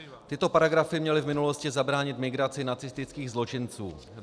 Tyto paragrafy měly v minulosti zabránit migraci nacistických zločinců.